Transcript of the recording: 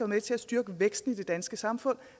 med til at styrke væksten i det danske samfund